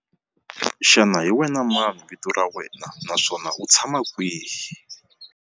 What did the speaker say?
Xana hi wena mani vito ra wena naswona u tshama kwihi?